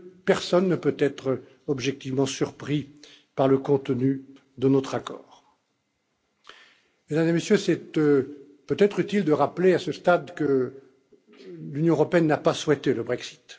Personne ne peut être objectivement surpris par le contenu de notre accord. Mesdames et Messieurs, il est peut être utile de rappeler à ce stade que l'Union européenne n'a pas souhaité le Brexit.